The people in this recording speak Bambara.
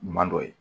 Ɲuman dɔ ye